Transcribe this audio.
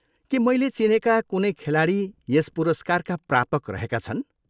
के मैले चिनेका कुनै खेलाडी यस पुरस्कारका प्रापक रहेका छन्?